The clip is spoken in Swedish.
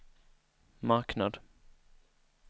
marknad